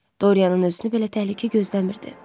Dorianın özünü belə təhlükə gözləmirdi.